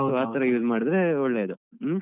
So ಆತರ Use ಮಾಡಿದ್ರೆ ಒಳ್ಳೇದು ಹ್ಮ್.